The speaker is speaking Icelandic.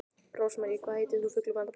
Rósmarý, hvað heitir þú fullu nafni?